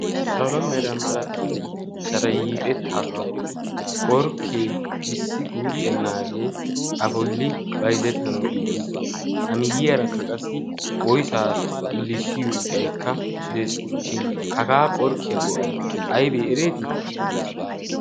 salomeera malatiya sharayiixettaagaa bolli qorkkee issi guuxxennaagee a boli baizettanau giigi uttiis. amiyyiyaarakka qassi oisaa xillissiyo iqaikka dees. shin hagaa qorkkiyaa go'ay aybee ereetii?